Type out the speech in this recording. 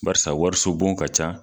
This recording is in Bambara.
Bariasa wariso bon ka ca.